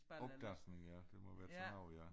Afdansning det må være sådan noget ja